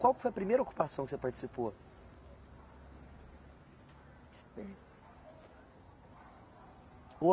Qual que foi a primeira ocupação que você participou? eh. ou